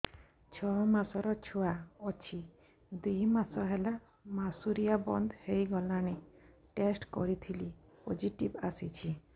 ଛଅ ମାସର ଛୁଆ ଅଛି ଦୁଇ ମାସ ହେଲା ମାସୁଆରି ବନ୍ଦ ହେଇଗଲାଣି ଟେଷ୍ଟ କରିଥିଲି ପୋଜିଟିଭ ଆସିଛି